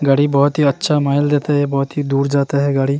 गाड़ी बहोत ही अच्छा माइल देता है बहोत ही दूर जाता है गाड़ी।